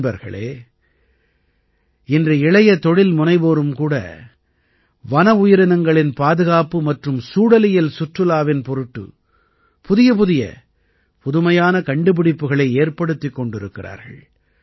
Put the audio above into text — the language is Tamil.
நண்பர்களே இன்று இளைய தொழில்முனைவோரும் கூட வன உயிரினங்களின் பாதுகாப்பு மற்றும் சூழலியல் சுற்றுலாவின் பொருட்டு புதியபுதிய புதுமையான கண்டுபிடிப்புக்களை ஏற்படுத்திக் கொண்டிருக்கிறார்கள்